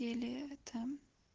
еле это